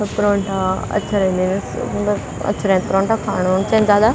परोंठा अच्छा रैंदिन सुंदर अच्छा रैंद परोंठा खाणु नि चैंद जादा।